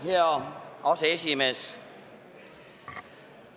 Hea aseesimees!